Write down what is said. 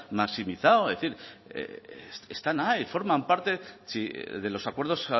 maximizado están ahí forman parte de los acuerdos